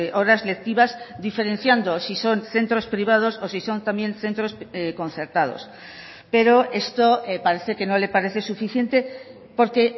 horas lectivas diferenciando si son centros privados o si son también centros concertados pero esto parece que no le parece suficiente porque